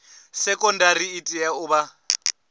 sekondari i tea u vha